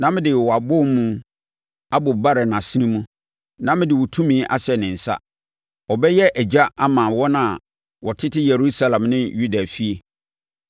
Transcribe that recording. Mede wʼatadeɛ yuu bɛhyɛ no na mede wʼabowomu abobare nʼasene mu na mede wo tumi ahyɛ ne nsa. Ɔbɛyɛ agya ama wɔn a wɔtete Yerusalem ne Yuda efie.